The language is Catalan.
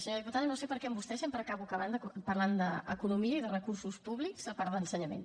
senyora diputada no sé per què amb vostè sempre acabo parlant d’economia i de recursos públics a part d’ensenyament